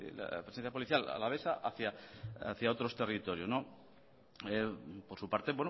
la presencia policial alavesa hacia otros territorios por su parte